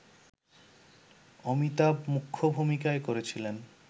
অমিতাভ মুখ্য ভূমিকায় করেছিলেন